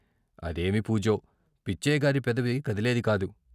అదేమి పూజో, పిచ్చయ్య గారి పెదవి కదిలేది కాదు.